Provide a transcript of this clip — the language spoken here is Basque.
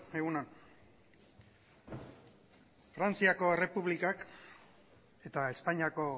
egun on frantziako errepublikak eta espainiako